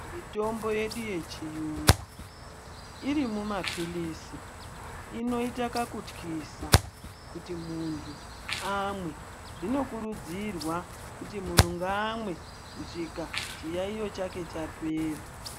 Mitombo yedu yechiyungu, iri mumaphilizi, inoita kakutyisa, kuti muntu amwe. Zvinokurudzirwa kuti munhu ngaamwe, kusvika chiyaiyo chake chapera.